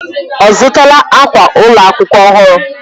Ọ zụtala akwa ụlọ akwụkwọ ọhụrụ?